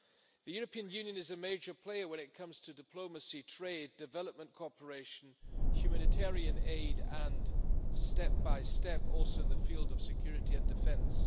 The European Union is a major player when it comes to diplomacy, trade, development cooperation, humanitarian aid and step by step also in the field of security and defence.